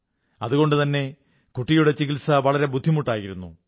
അതുകൊണ്ടുതന്നെ കുട്ടിയുടെ ചികിത്സ വളരെ ബുദ്ധിമുട്ടായിരുന്നു